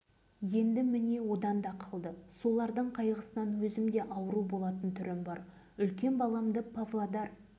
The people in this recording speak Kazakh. естері дұрыс тілдері сайрап тұр бірақ аяқ-қолдары істемейді бір жарым жасқа дейін еңбектеп күліп жүретін үйге